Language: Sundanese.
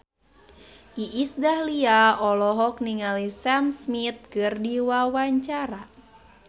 Iis Dahlia olohok ningali Sam Smith keur diwawancara